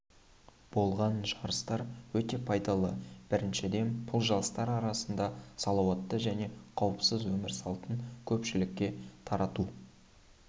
болған жарыстар өте пайдалы біріншіден бұл жастар арасында салауатты және қауіпсіз өмір салтын көпшілікке тарату